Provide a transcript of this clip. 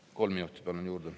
Palun kolm minutit juurde.